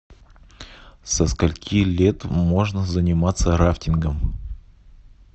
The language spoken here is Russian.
со скольки лет можно заниматься рафтингом